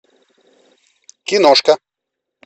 киношка